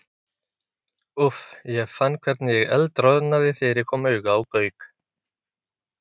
Úff, ég fann hvernig ég eldroðnaði þegar ég kom auga á Gauk.